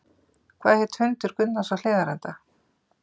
Hvað hét hundur Gunnars á Hlíðarenda?